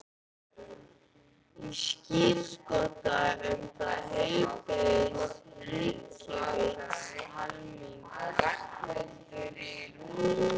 Ég skírskota um það til heilbrigðs hyggjuvits almennings.